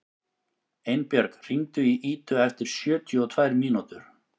Einbjörg, hringdu í Idu eftir sjötíu og tvær mínútur.